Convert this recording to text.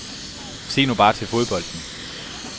Se nu bare til fodbolden.